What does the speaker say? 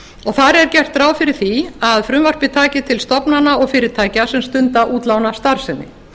þar er gert ráð fyrir því að frumvarpið taki til stofnana og fyrirtækja sem stunda útlánastarfsemi